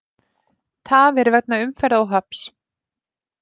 Tafir vegna umferðaróhapps